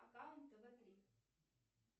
аккаунт тв три